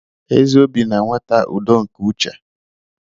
Ezi obi na-eweta udo nke uche.